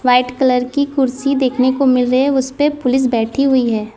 White colour की कुर्सी देखने को मिल रहे उससे पुलिस बैठी हुई है।